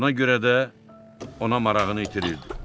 Buna görə də ona marağını itirirdi.